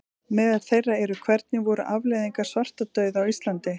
Meðal þeirra eru: Hvernig voru afleiðingar svartadauða á Íslandi?